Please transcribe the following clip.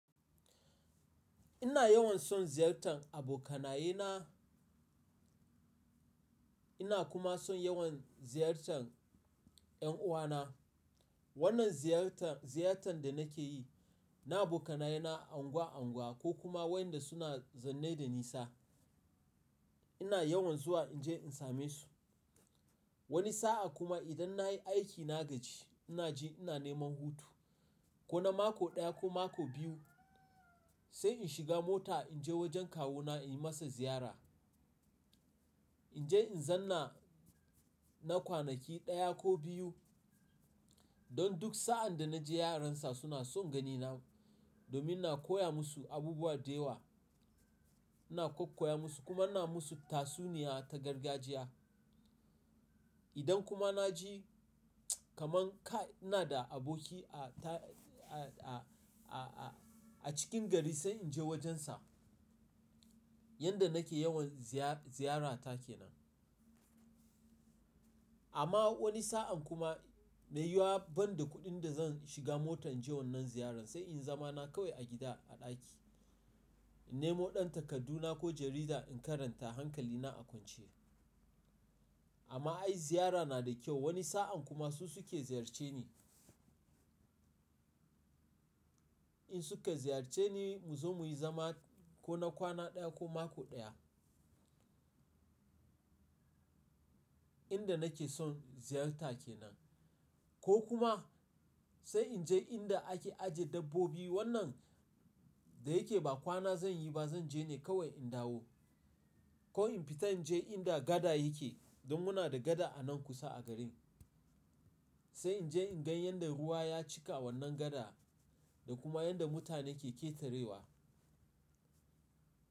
Ina yawan son ziyartar abokanaye na, ina kuma son yawan ziyartar 'yan uwana. Wannan ziyar-ziyartan da nake yi, na abokanaye na anguwa-anguwa ko kuma waɗanda suna zanne da nisa. Ina yawan zuwa in je in same su. Wani sa'a kuma idan na yi aiki na gaji, ina ji ina neman hutu. Ko na mako ɗaya ko mako biyu sai in shiga mota in je wajen kawuna in yi masa ziyara. In je in zanna na kwanaki ɗaya ko biyu. Don duk sa'an da na je yaran sa suna son ganina domin na koya musu abubuwa da yawa. Ina kakkoya musu kuma ina musu tatsuniya ta gargajiya. Idan kuma na ji kamar kai ina da aboki a ta a-a-a-a cikin gari sai in je wajensa. Yanda nake yawan ziyar-ziyarata kenan. Amma wani sa'an kuma Mai yi yiwa banda kuɗin da zan shiga mota in je wannan ziyaran sai in zama na kawai a gida a ɗaki. In nemo ɗan takarduna ko jarida in karanta hankalina a kwance. Amma ai ziyara na da kyau. Wani sa'an kuma su suke ziyarce ni. In su ka ziyarce ni mu zo muyi zama ko na kwana ɗaya ko mako ɗaya. Inda nake son ziyarta kenan. Ko kuma sai in je inda ake ajiye dabbobi wannan da yake ba kwana zan yi ba zan je ne kawai in dawo. Ko in fita in je inda gada yake don muna da gada a nan kusa a garin. Sai in je in gan yadda ruwa ya cika wannan gada da kuma yadda mutane ke ƙetarewa.